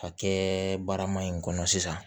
Ka kɛ barama in kɔnɔ sisan